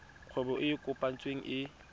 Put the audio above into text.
kgwebo e e kopetsweng e